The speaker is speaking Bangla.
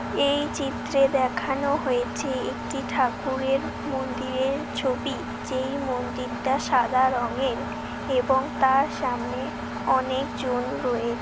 এই চিত্রে দেখানো হয়েছে একটি ঠাকুরের মন্দিরের ছবি। এই মন্দিরটা সাদা রঙ এর এবং তার সামনে অনেকজন রয়েছে।